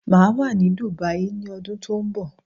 Máa wà ní Dubai ni ọdún tó ń bọ̀